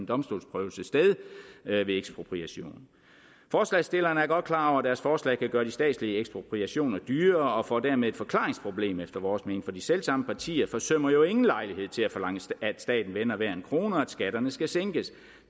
domstolsprøvelse sted ved ekspropriation forslagsstillerne er godt klar over at deres forslag kan gøre de statslige ekspropriationer dyrere og de får dermed et forklaringsproblem efter vores mening for de selv samme partier forsømmer jo ingen lejlighed til at forlange at staten vender hver en krone og at skatterne skal sænkes